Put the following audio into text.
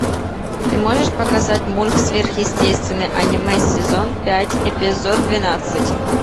ты можешь показать мульт сверхъестественное аниме сезон пять эпизод двенадцать